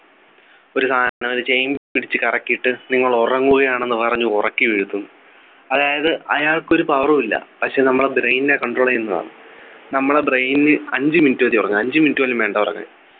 ഒരു കാരണവര് chain പിടിച്ചു കറക്കീട്ട് നിങ്ങൾ ഉറങ്ങുകയാണെന്നു പറഞ്ഞു ഉറക്കി വീഴ്ത്തുന്നു അതായത് അയാൾക്കൊരു power ഉം ഇല്ല പക്ഷെ നമ്മളെ brain നെ control ചെയ്യുന്നതാണ് നമ്മളെ brain ന് അഞ്ചു minute വരെ ഉറങ്ങും അഞ്ചു minute പോലും വേണ്ട ഉറങ്ങാൻ